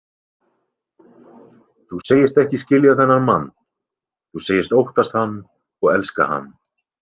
Þú segist ekki skilja þennan mann, þú segist óttast hann og elska hann.